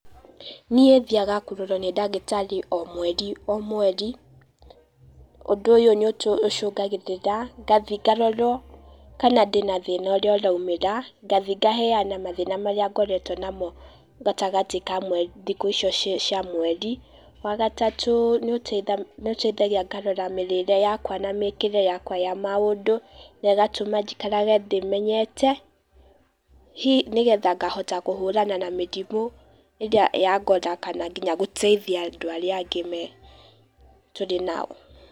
Niĩ thiaga kũrorwo nĩ ndagĩtarĩ o mweri o mweri, ũndũ ũyũ nĩ ũtũ, ũcũngagĩrĩra ngathĩe ngarorwo kana ndĩna thĩna ũrĩa ũraumĩra, ngathĩe ngaheana mathĩna marĩa ngoretwo namo gatagatĩ ka mwerĩ thĩkũ icio cia mweri. Wa gatatũ, nĩ ũteithagia ngarora mĩrĩre yakwa na mĩkire yakwa ya maũndũ, na ĩgatũma jĩkarage ndĩmenyete, hihi ngahota kũhũrana na mĩrĩmũ irĩa ya ngora, kana nginya gũteithia andũ arĩa angĩ me, tũrĩ nao.